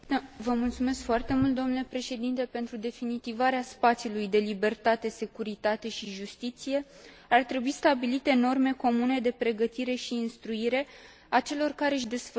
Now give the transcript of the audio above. Pentru definitivarea spațiului de libertate, securitate și justiție, ar trebui stabilite norme comune de pregătire și instruire a celor care își desfășoară activitatea în instanțe.